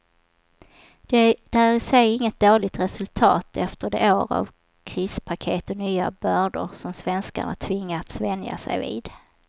Det är i sig inget dåligt resultat efter de år av krispaket och nya bördor som svenskarna tvingats vänja sig vid.